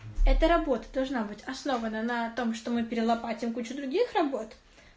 эта работа должна быть основана на том что мы перелопатим кучу других работ